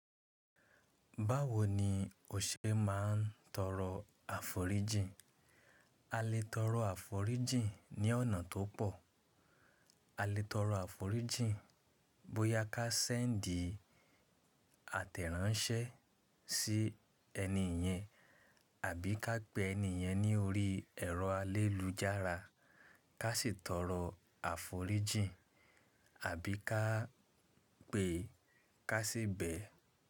Báwo ni o ṣe máa ń tọrọ àforíjìn? A lè tọrọ àforíjìn ní ọ̀nà tó pọ̀. A lè tọrọ àforíjìn bóyá ká send àtẹ̀ránsẹ́ sí ẹni ìyẹn àbí ká pè ẹni ìyẹn ní orí ẹ̀rọ alélujára, ká sì tọrọ àforíjìn àbí ká pè, ká sì bẹ̀